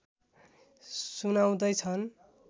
सुनाउँदै छन्